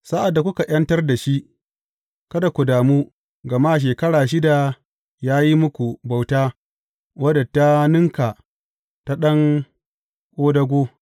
Sa’ad da kuka ’yantar da shi kada ku damu, gama shekara shida ya yi muku bauta wadda ta ninka ta ɗan ƙodago.